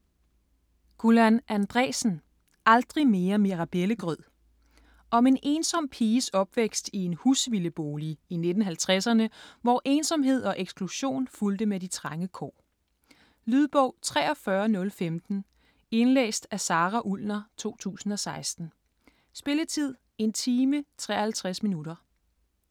Andreasen, Gullan: Aldrig mere mirabellegrød Om en ensom piges opvækst i en husvildebolig i 1950'erne, hvor ensomhed og eksklusion fulgte med de trange kår. Lydbog 43015 Indlæst af Sara Ullner, 2016. Spilletid: 1 time, 53 minutter.